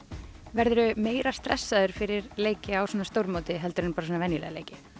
verður þú meira stressaður fyrir leiki á svona stórmóti heldur en venjulega leiki